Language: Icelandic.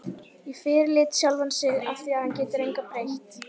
Og fyrirlíti sjálfan sig afþvíað hann getur engu breytt.